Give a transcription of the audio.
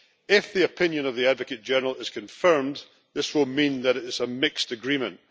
If the opinion of the Advocate General is confirmed, this will mean that it is a mixed agreement.